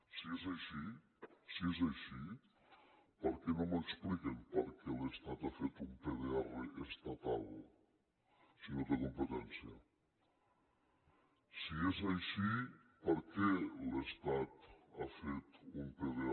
si és així si és així per què no m’expliquen per què l’estat ha fet un pdr estatal si no té competència si és així per què l’estat ha fet un pdr